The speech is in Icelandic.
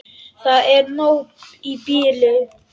Það er nóg í bili.